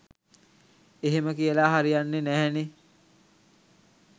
එහෙම කියලා හරියන්නෙ නැහැනෙ.